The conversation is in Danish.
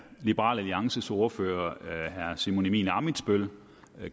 liberal alliances ordfører herre simon emil ammitzbøll